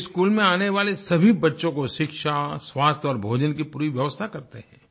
वे school में आने वाले सभी बच्चों को शिक्षा स्वास्थ्य और भोजन की पूरी व्यवस्था करते हैं